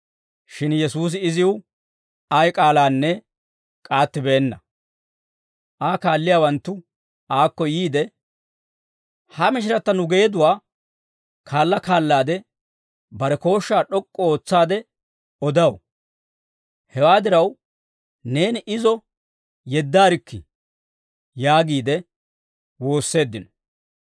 Shin Yesuusi iziw ay k'aalaanne k'aattibeenna; Aa kaalliyaawanttu aakko yiide, «Ha mishiratta nu geeduwaa kaala kaalaade, bare kooshshaa d'ok'k'u ootsaade odaw; hewaa diraw, neeni izo yeddaarikkii» yaagiide woosseeddino.